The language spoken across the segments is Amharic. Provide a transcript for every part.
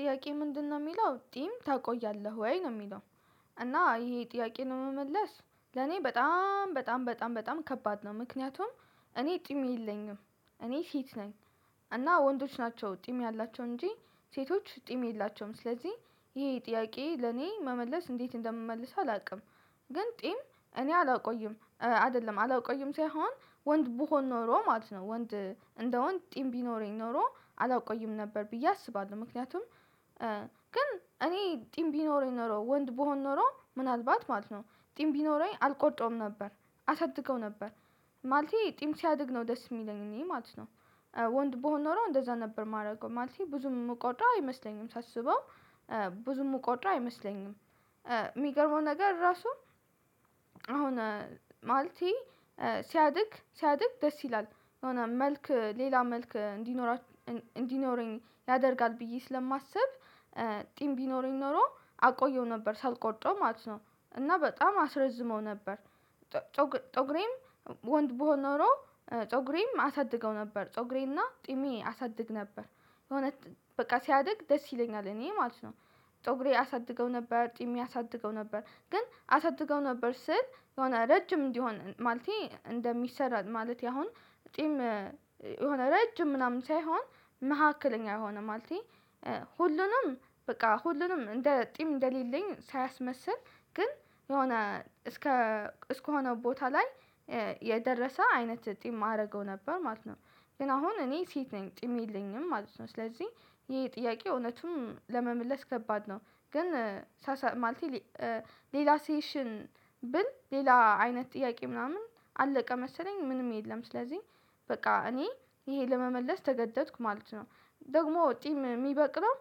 ጥያቄ ምንድነው የሚለው ጢም ታቆያለህ ወይ ነው የሚለው? እና ይሄ ጥያቄ ነው ለምመለስ ለኔ በጣም በጣም በጣም በጣም ከባድ ነው። ምክንያቱም እኔ ጢም የለኝም እኔ ሴት ነኝ። እና ወንዶች ናቸው ጢም ያላቸው እንጂ ሴቶች ጢም የላቸውም። ስለዚህ ይሄ ጥያቄ ለኔ መመለስ እንዴት እንደምመልሰው አላውቅም። ግን ጢም እኔ አላቆይም አይደለም አላቆይም ሳይሆን ወንድ ብሆን ኖሮ ማለት ነው ወንድ እንደውን ጥም ቢኖረኝ ኖሮ አላቆይም ነበር ብዬ አስባለሁ። ምክንያቱም ግን እኔ ጢም ቢኖረኝ ኖሮ ወንድ ብሆን ኖሮ ምናልባት ማለት ነው ጢም ቢኖረኝ አልቆርጠውም ነበር አሳድገው ነበር። ማለቴ ጢም ሲያድግ ነው ደስ የሚለኝ እኔ ማለት ነው። ወንድ ብሆን ኖሮ እንደዛ ነበር የማደርገው ማለት ብዙም የምቆጥረው አይመስለኝም ሳስበው ብዙም የምቆጥረው አይመስለኝም። የሚገርመው ነገር ራሱ አሁን ማለቴ ሲያድግ ሲያድግ ደስ ይላል። የሆነ መልክ ሌላ መልክ እንዲኖራችሁ እንዲኖረኝ ያደርጋል ብዬ ስለማስብ ጢም ቢኖረኝ ኖሮ አቆየው ነበር ሳልቆርጠው ማለት ነው። እና በጣም አስረዝመው ነበር። ፀጉሬም ወንድ ብሆን ኖሮ ፀጉሬምአሳድገው ነበር ፀጉሬምና ጢሜ አሳድግ ነበር በእውነት በቃ ሲያድግ ደስ ይለኛል እኔ ማለት ነው። ፀጉሬ አሳድገው ነበር ጢሜ ያሳድገው ነበር ግን አሳድገው ነበር ስል የሆነ ረጅም እንዲሆን ማለቴ እንደሚሰራ ማለት ያሁን። ጢም የሆነ ረጅም ምናምን ሳይሆን መካከለኛ የሆነ ማለቴ ሁሉንም በቃ ሁሉንም እንደ ጢም እንደሌለኝ ሳያስመስል ግን የሆነ እስከ እስከሆነ ቦታ ላይ የደረሰ አይነት ጢም አደርገው ነበር ማለት ነው። ግን አሁን እኔ ሴት ነኝ ጢም የለኝም ማለት ነው። ስለዚህ ይሄ ጥያቄ እውነቱም ለመመለስ ከባድ ነው። ግን ሳሳ ማለት ሌላ ሴሽን ብል ሌላ አይነት ጥያቄ ምናምን አለቀ መሰለኝ ምንም የለም ስለዚህ በቃ እኔ ይሄ ለመመለስ ተገደድኩ ማለት ነው። ደግሞ ጢም የሚበቅለው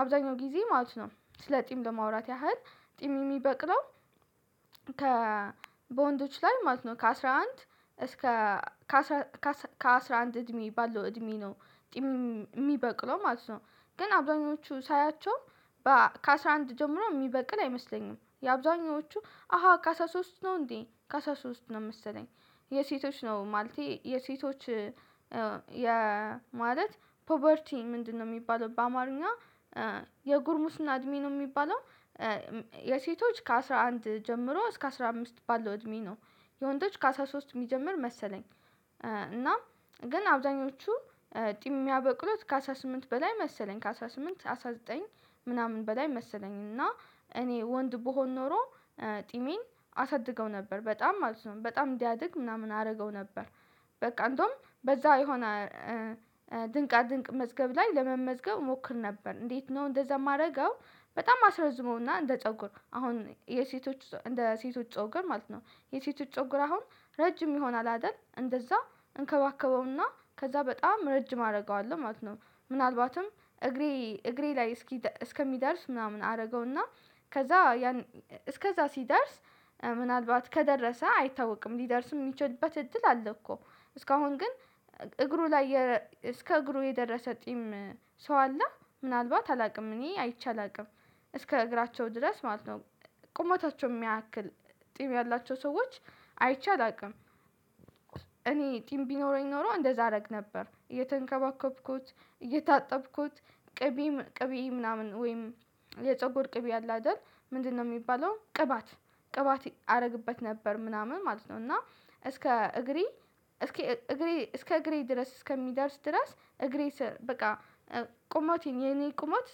አብዛኛው ጊዜ ማለት ነው ስለ ጢም ለማውራት ያህል ጢም የሚበቅለው። ከ በወንዶች ላይ ማለት ነው ከአስራ አንድ እስከ ከአስራ አንድ እድሜ ባለው እድሜ ነው የሚበቅለው ማለት ነው። ግን አብዛኞቹ ሳያቸው ከአስራ አንድ ጀምሮ የሚበቅል አይመስለኝም የአብዛኞቹ አሃ ከአስራ ሶስት ነው እንዴ ከአስራ ሶስት ነው መሰለኝ። የሴቶች ነው ማልቴ የሴቶች የማለት ፑቨርቲ ምንድነው? የሚባለው በአማርኛ የጉርሙስና እድሜ ነው የሚባለው። የሴቶች ከአስራ አንድ ጀምሮ እስከ አስራ አምስት ባለው እድሜ ነው። የወንዶች ከአስራ ሶስት የሚጀምር መሰለኝ። እና ግን አብዛኞቹ ጢም ያበቅሎት ከአስራ ስምንግ በላይ መሰለኝ ከአስራ ስምንት አስራ ዘጠኝ ምናምን በላይ መሰለኝ። እና እኔ ወንድ ብሆን ኖሮ ጢምን አሳድገው ነበር በጣም ማለት ነው በጣም እንዲያድግ ምናምን አደርገው ነበር። በቃ እንደውም በዛ የሆነ ድንቃ ድንቅ መዝገብ ላይ ለመመዝገብ እሞክር ነበር እንዴት ነው እንደዛ የማደርገው? በጣም አስረዝመውና እንደ ፀጉር አሁን የሴቶች እንደ ሴቶች ፀጉር ማለት ነው። የሴቶች ፀጉር አሁን ረጅም ይሆናል አይደል እንደዛ እንከባከበውና ከዛ በጣም ረጅም አደርገዋለሁ ማለት ነው። ምናልባትም እግሬ እግሬ ላይ እስኪ እስከሚደርስ ምናምን አደርገውና ከዛ ያን እስከዛ ሲደርስ ምናልባት ከደረሰ አይታወቅም ሊደርስ የሚችልበት እድል አለ እኮ። እስካሁን ግን እግሩ ላይ እስከ እግሩ የደረሰ ጢም ሰው አለ? ምናልባት አላውቅም እኔ አይቼ አላውቅም። እስከ እግራቸው ድረስ ማለት ነው። ቁመታቸውን የሚያክል ጢም ያላቸው ሰዎች አይቻል አላቅም። እኔ ጢም ቢኖረኝ ኖሮ እንደዛ አደረግ ነበር እየተንከባከብኩት እየታጠብኩት ቅቤ ምናምን ወይም የፀጉር ቅቤ አለ አይደል ምንድነው የሚባለው ቅባት? ቅባት አደርግበት ነበር ምናምን ማለት ነው። እና እስከ እግሬ እስከ እግሬ እስከ እግሬ ድረስ እስከሚደርስ ድረስ እግሬ ስር በቃ ቁመቴን የኔ ቁመት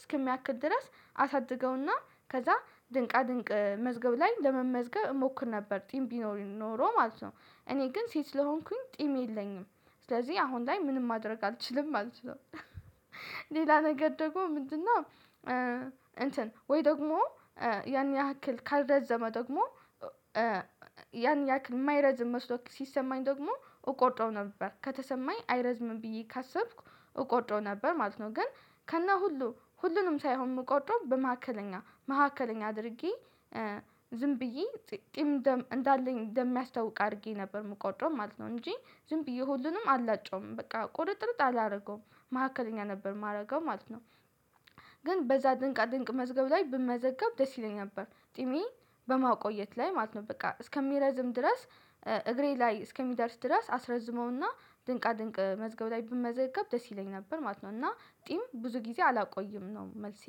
እስከሚያክል ድረስ አሳድገውና ከዛ ድንቅ ድንቅ መዝገብ ላይ ለመመዝገብ እሞክር ነበር ጢም ቢኖረኝ ኖሮ ማለት ነው። እኔ ግን ሴት ስለሆንኩኝ ጢም የለኝም። ስለዚህ አሁን ላይ ምንም ማድረግ አልችልም ማለት ነው። ሌላ ነገር ደግሞ ምንድነው? እንትን ወይ ደግሞ ያን ያህል ካልረዘመ ደግሞ ያን ያህል የማይረዝም መስሎ ሲሰማኝ ደግሞ እቆርጠው ነበር ከተሰማኝ አይረዝምም ብዬ ካሰብኩ እቆርጠው ነበር ማለት ነው። ግን ከነሁሉ ሁሉንም ሳይሆን ምቆርጠው በመካከለኛ መካከለኛ አድርጌ ዝም ብዬ ጢም እንዳለኝ እንደሚያስታውቅ አድርጌ ነበር የምቆጠው ማለት ነው። እንጂ ዝም ብዬ ሁሉንም አላጨውም በቃ ቁርጥርጥ አላደርገውም። መካከለኛ ነበር የማደርገው ማለት ነው። ግን በዛ ድንቅ ድንቅ መዝገብ ላይ ብመዘገብ ደስ ይለኛል ነበር ጢሜ በማቆየት ላይ ማለት ነው በቃ እስከሚረዝም ድረስ እግሬ ላይ እስከሚደርስ ድረስ አስረዝመውና ድንቃ ድንቅ መዝገብ ላይ ብመዘገብ ደስ ይለኝ ነበር ማለት ነው። እና ጢም ብዙ ጊዜ አላቆይም ነው መልሴ